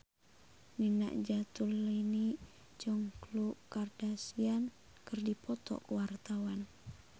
Nina Zatulini jeung Khloe Kardashian keur dipoto ku wartawan